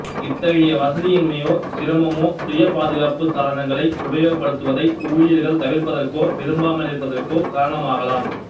இத்தகயை வசதியின்மையோ சிரமமோ சுய பாதுகாப்பு சாதனங்களை உபயோகப்படுத்துவதை ஊழியர்கள் தவிர்ப்பதற்கோ விரும்பாமலிருப்பதற்கோ காரணமாகலாம்